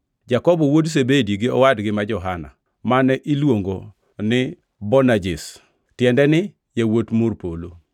Jakobo wuod Zebedi gi owadgi ma Johana (mane iluongo ni Boanerges, tiende ni yawuot Mor Polo);